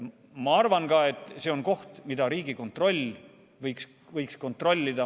Ma arvan ka, et see on koht, mida Riigikontroll võiks kontrollida.